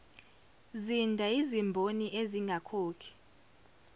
zinda yizimboni ezingakhokhi